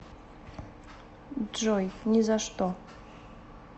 джой ни за что